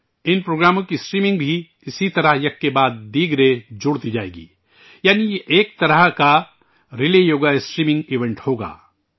ان پروگراموں کی اسٹریمنگ بھی اسی طرح ایک کے بعد ایک جڑتی جائے گی، یعنی یہ ، ایک طرح کا ریلیے یوگا اسٹریمنگ ایونٹ ہوگا